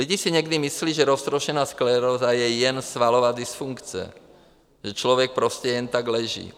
Lidi si někdy myslí, že roztroušená skleróza je jen svalová dysfunkce, že člověk prostě jen tak leží.